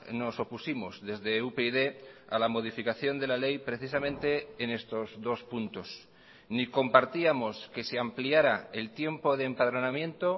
nos opusimos desde upyd a la modificación de la ley precisamente en estos dos puntos ni compartíamos que se ampliara el tiempo de empadronamiento